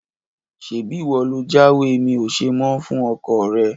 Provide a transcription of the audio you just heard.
Ṣebí ìwọ lo jáwèé mi ò ṣe mọ́ fún ọkọọ̀ rẹ?